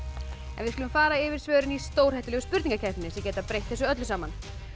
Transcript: við skulum fara yfir svörin í stórhættulegu spurningakeppninni sem geta breytt þessu öllu saman